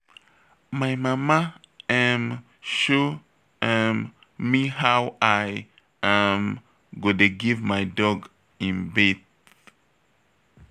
My mama um show um me how I um go dey give my dog im bath